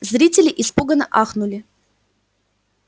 зрители испуганно ахнули